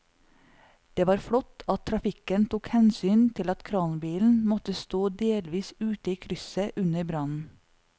Det var flott at trafikken tok hensyn til at kranbilen måtte stå delvis ute i krysset under brannen.